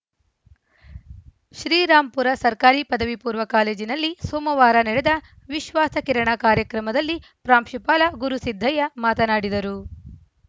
ಶ್ರೀರಾಂಪುರ ಸರ್ಕಾರಿ ಪದವಿಪೂರ್ವ ಕಾಲೇಜಿನಲ್ಲಿ ಸೋಮವಾರ ನೆಡೆದ ವಿಶ್ವಾಸ ಕಿರಣ ಕಾರ್ಯಕ್ರಮದಲ್ಲಿ ಪ್ರಾಂಶುಪಾಲ ಗುರುಸಿದ್ದಯ್ಯ ಮಾತನಾಡಿದರು